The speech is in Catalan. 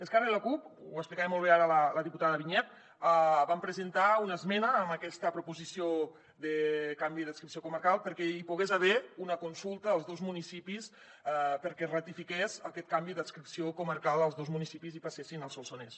esquerra i la cup ho explicava molt bé ara la diputada vinyets van presentar una esmena a aquesta proposició de canvi d’adscripció comarcal perquè hi pogués haver una consulta als dos municipis perquè ratifiqués aquest canvi d’adscripció comarcal als dos municipis i passessin al solsonès